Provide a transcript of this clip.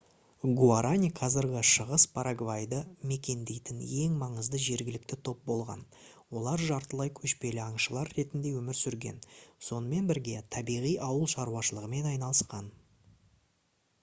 гуарани қазіргі шығыс парагвайды мекендейтін ең маңызды жергілікті топ болған олар жартылай көшпелі аңшылар ретінде өмір сүрген сонымен бірге табиғи ауыл шаруашылығымен айналысқан